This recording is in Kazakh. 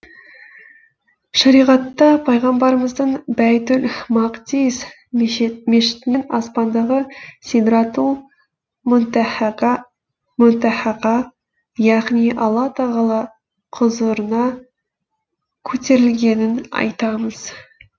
шариғатта пайғамбарымыздың бәйтул мақдис мешітінен аспандағы сидратул мүнтәһәға яғни алла тағала құзырына көтерілгенін айтамыз